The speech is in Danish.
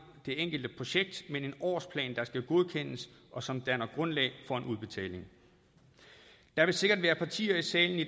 det enkelte projekt men en årsplan der skal godkendes og som danner grundlag for en udbetaling der vil sikkert være partier i salen i